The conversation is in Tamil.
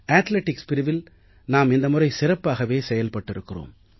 அத்லெடிக்ஸ் பிரிவில் நாம் இந்த முறை சிறப்பாகவே செயல்பட்டிருக்கிறோம்